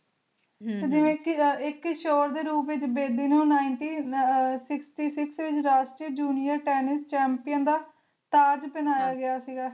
ਇਕ ਸ਼ੋਰ ਦੇ ਰੂਪ ਵਿਚ ਬੇਦੀ ਨੂੰ Nineteen sixty six ਵਿਚ ਰਾਸ਼ਟਰੀਯ Junior Tennis Champion ਦਾ ਤਾਜ ਪਹਿਨਾਇਆ ਗਯਾ ਸੀ